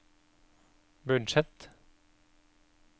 budsjett